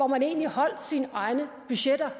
man egentlig holdt sine egne budgetter